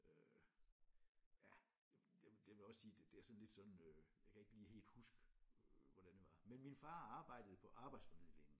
Øh ja det det vil vil jeg også sige det er sådan lidt sådan øh jeg kan ikke lige helt huske øh hvordan det var men min far arbejdede på arbejdsformidlingen